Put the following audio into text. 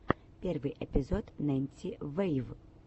первый эпизод ненси вэйв